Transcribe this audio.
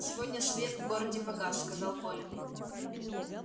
сегодня свет в городе погас сказал коля